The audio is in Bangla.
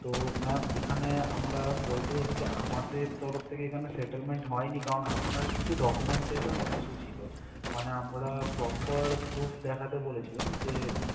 তো ma'am এখানে আমরা বলতে চাইছি যে আমাদের তরফ থেকে এখানে settlement হয়নি কারণ আপনার কিছু documentation issue ছিল মানে আমরা proper proof দেখাতে বলেছিলাম যে